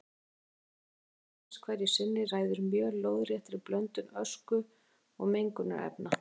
Stöðugleiki lofthjúpsins hverju sinni ræður mjög lóðréttri blöndun ösku og mengunarefna.